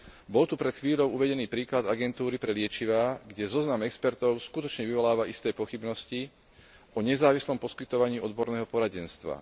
Bol tu pred chvíľou uvedený príklad Agentúry pre liečivá, kde zoznam expertov skutočne vyvoláva isté pochybnosti o nezávislom poskytovaní odborného poradenstva.